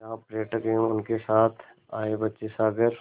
जहाँ पर्यटक एवं उनके साथ आए बच्चे सागर